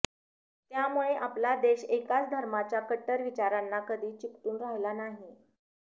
त्यामुळे आपला देश एकाच धर्माच्या कट्टर विचारांना कधी चिकटून राहिला नाही